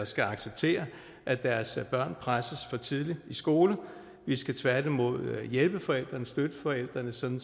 skal acceptere at deres børn presses for tidligt i skole vi skal tværtimod hjælpe forældrene støtte forældrene sådan